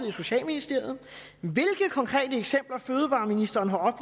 i socialministeriet hvilke konkrete eksempler fødevareministeren har